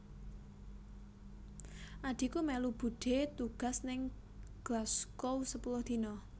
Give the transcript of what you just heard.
Adhiku melu budhe tugas ning Glasgow sepuluh dino